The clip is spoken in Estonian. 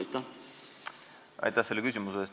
Aitäh selle küsimuse eest!